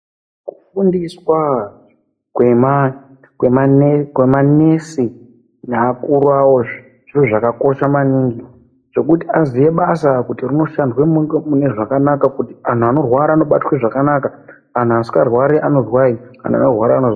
Kufundiswa kwemanesi nevakuru vavo zvekuti azive basa vashande mune zvakanaka kuti vantu vanorwara vanobata zvakanaka vasingarwari vanodai.